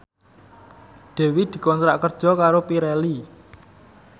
Dewi dikontrak kerja karo Pirelli